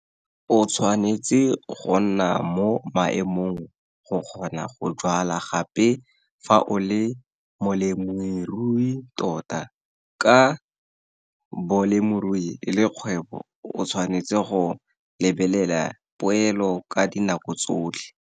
O tshwanetse go nna mo maemong go kgona go jwala gape fa o le molemirui tota. Ka bolemirui e le kgwebo, o tshwanetse go lebelela poelo ka dinako tsotlhe.